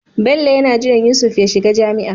Bello yana jiran Yusuf ya shiga jami'a